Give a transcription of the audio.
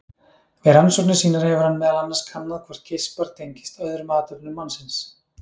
Við rannsóknir sínar hefur hann meðal annars kannað hvort geispar tengist öðrum athöfnum mannsins.